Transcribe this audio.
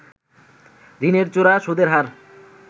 ঋণের চড়া সুদের হার